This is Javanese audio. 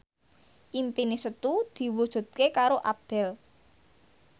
impine Setu diwujudke karo Abdel